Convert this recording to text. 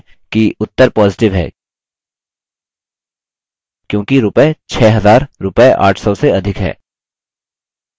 ध्यान दें कि उत्तर positive है क्योंकि रूपये 6000 रूपये 800 से अधिक हैं